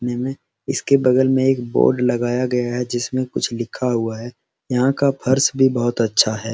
निमे इसके बगल में एक बोर्ड लगाया है जिसमे कुछ लिखा हुआ है यहाँ का फर्श भी बहुत अच्छा है।